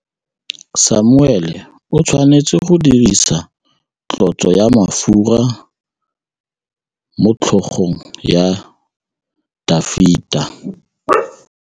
Samuele o tshwanetse go dirisa tlotsô ya mafura motlhôgong ya Dafita.